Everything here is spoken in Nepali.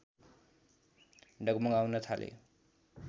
डगमगाउन थाले